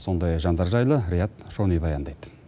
сондай жандар жайлы риат шони баяндайды